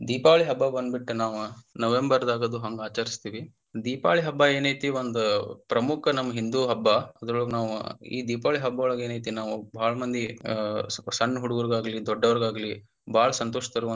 ದೀಪಾವಳಿ ಹಬ್ಬಾ ಬಂದಬಿಟ್ಟ ನಾವ November ಗ ಅದು ಹಂಗ ಆಚರಸ್ತೆವಿ ದೀಪಾವಳಿ ಹಬ್ಬಾ ಏನೈತಿ ಒಂದ ಪ್ರಮುಖ ನಮ್ಮ ಹಿಂದೂ ಹಬ್ಬಾ ಅದ್ರೊಳಗ ನಾವ ಈ ದೀಪಾವಳಿ ಹಬ್ಬಾವೊಳಗ ಏನೈತಿ ನಾವು ಬಾಳ ಮಂದಿ ಅಹ್ ಸ್ವಲ್ಪ ಸಣ್ಣ ಹುಡುಗುರಗಾಗ್ಲಿ ದೊಡ್ಡೋರಗಾಗ್ಲಿ ಬಾಳ ಸಂತೋಷತರುವಂತ.